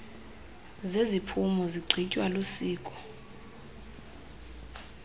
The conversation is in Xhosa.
zeziphumo zigqitywa lisiko